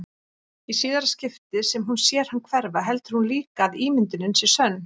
Í síðara skiptið sem hún sér hann hverfa heldur hún líka að ímyndunin sé sönn.